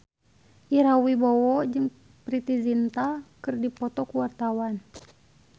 Ira Wibowo jeung Preity Zinta keur dipoto ku wartawan